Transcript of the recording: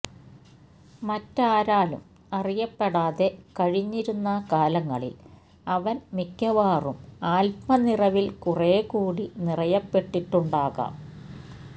മറ്റാരാലും അറിയപ്പെടാതെ കഴിഞ്ഞിരുന്ന കാലങ്ങളിൽ അവൻ മിക്കവാറും ആത്മനിറവിൽ കുറേക്കൂടി നിറയപ്പെട്ടിട്ടുണ്ടാകാം